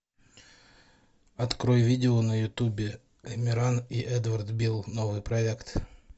открой видео на ютубе амиран и эдвард бил новый проект